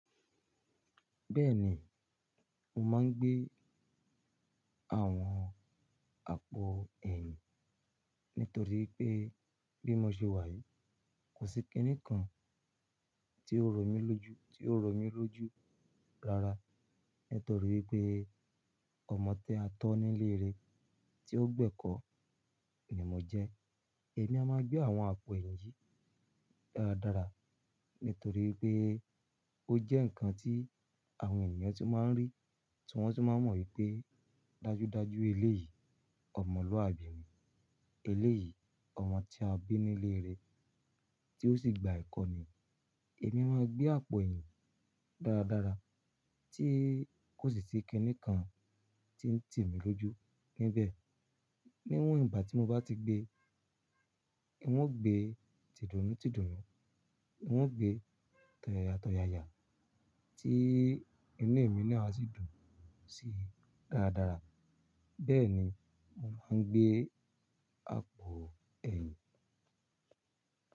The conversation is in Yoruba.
Bẹ́ẹ̀ ni, mo máa ń gbé àwọn àpò ẹ̀yìn nítorí pé bí mo ṣe wà yìí, kò sí kinì kan tí ó rọ mí lójú, tí ó rọ mí lójú rara nítorí pé ọmọ tí a tó nílé rẹ tí ó gbẹ́kọ̀ ni mo jẹ́. Èmi a máa gbé àwọn àpò ẹ̀yìn yí dáradára nítorí pé ó jẹ́ ǹkan tí àwọn ènìyàn tó máa ń rí tí wọ́n tó máa mọ̀ wípé dájúdájú eléyìí, ọmọlúwàbí ni. Eléyìí, ọmọ tí a bí nílé rẹ tí ó sì gba ẹ̀kọ́ ni. Èmi máa ń gbé àpò ẹ̀yìn dáradára tí kò sí ti kjnì kan tí ń tì mí lójú níbẹ̀. Níwọ́n ìgbà tí mo bá ti gbé, ń ó gbé tìdùnútìdùnú, ń ó gbé tọ̀yàyátọ̀yàya tí inú èmi náà sì dùn sí dáradára. Bẹ́ẹ̀ ni mo máa ń gbé àpò ẹ̀yìn.